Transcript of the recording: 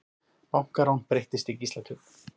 Bankarán breyttist í gíslatöku